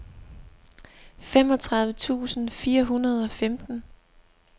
femogtredive tusind fire hundrede og femten